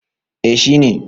eh shi ne